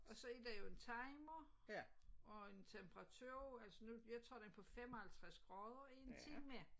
Og så er der jo en timer og en temperatur altså nu jeg tager den på 55 grader i en time